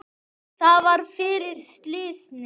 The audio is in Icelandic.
Það var fyrir slysni.